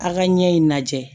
A ka ɲɛ in lajɛ